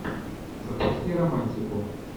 запусти романтику